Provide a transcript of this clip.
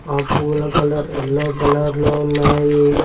ఆ పూల colour yellow colour లో ఉన్నాయి.